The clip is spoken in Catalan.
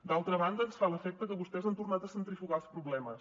d’altra banda ens fa l’efecte que vostès han tornat a centrifugar els problemes